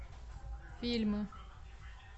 фильмы